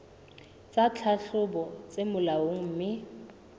tsa tlhahlobo tse molaong mme